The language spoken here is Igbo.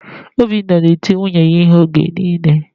Obinna na-eti nwunye ya ihe oge niile